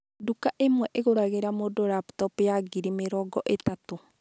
Nduka ĩmwe ĩgũragĩra mũndũ laptop ya ngiri mĩrongo ĩtatũ.